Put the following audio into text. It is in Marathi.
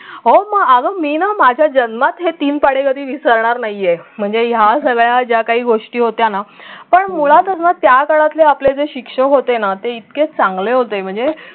हो मग अगं मी ना माझ्या जन्मात हे तीन पाढे कधी विसरणार नाहीये म्हणजे ह्या सगळ्या ज्या काही गोष्टी होत्या ना पण मुळात अगं त्या काळातले आपले जे शिक्षक होते ना ते इतके चांगले होते म्हणजे